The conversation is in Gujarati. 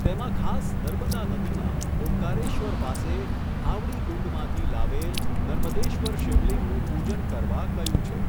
તેમાં ખાસ નર્મદા નદીમાં, ઓમકારેશ્વર પાસે, ઘાવડીકુંડમાંથી લાવેલ, નર્મદેશ્વર શિવલિંગનું પૂજન કરવા કહ્યું છે.